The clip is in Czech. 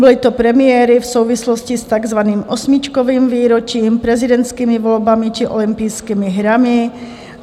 Byly to premiéry v souvislosti s takzvaným osmičkovým výročím, prezidentskými volbami či olympijskými hrami.